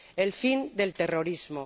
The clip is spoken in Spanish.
el fin del terrorismo.